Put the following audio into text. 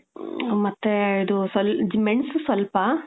ಮ್ಮ್, ಮತ್ತೇ, ಇದು ಸ್ವಲ್ ಮೆಣಸು ಸ್ವಲ್ಪ,